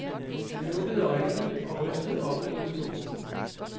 Han lukkede øjnene og rystede opgivende på hovedet.